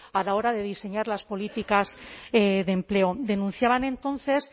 a la hora de diseñar las políticas de empleo denunciaban entonces